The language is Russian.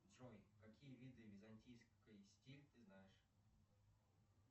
джой какие виды византийской стиль ты знаешь